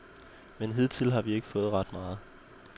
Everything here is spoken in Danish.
Men hidtil har vi ikke fået ret meget.